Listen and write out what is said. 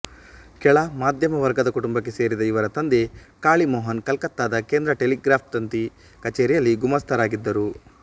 ಕೆಳ ಮಧ್ಯಮ ವರ್ಗದ ಕುಟುಂಬಕ್ಕೆ ಸೇರಿದ ಇವರ ತಂದೆ ಕಾಳಿಮೋಹನ್ ಕಲ್ಕತ್ತಾದ ಕೇಂದ್ರ ಟೆಲಿಗ್ರ್ಯಾಫ್ತಂತಿ ಕಚೇರಿಯಲ್ಲಿ ಗುಮಾಸ್ತ ರಾಗಿದ್ದರು